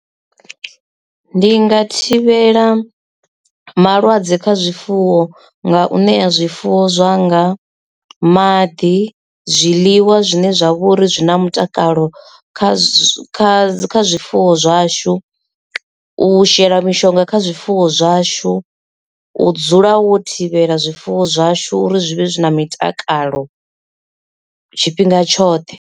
Ndi nga thivhela malwadze kha zwifuwo nga u ṋea zwifuwo zwanga maḓi zwiḽiwa zwine zwa vhori zwina mutakalo kha zwa kha zwifuwo zwashu u shela mishonga kha zwifuwo zwashu u dzula wo thivhela zwifuwo zwashu uri zwi vhe zwi na mitakalo, tshifhinga tshoṱhe.